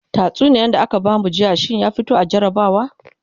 tatsuniyar da aka bamu jiya shinya fito mana a jarabawa